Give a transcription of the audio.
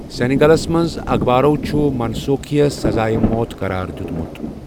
سینیگالَس منٛز اخبارَو چھُ منسوخی یس سزایہ موت قرار دِیُتمُت۔